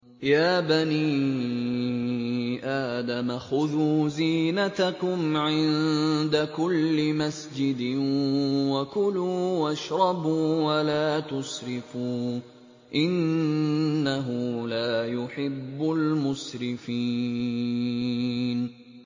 ۞ يَا بَنِي آدَمَ خُذُوا زِينَتَكُمْ عِندَ كُلِّ مَسْجِدٍ وَكُلُوا وَاشْرَبُوا وَلَا تُسْرِفُوا ۚ إِنَّهُ لَا يُحِبُّ الْمُسْرِفِينَ